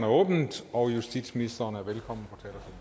åbnet og justitsministeren er velkommen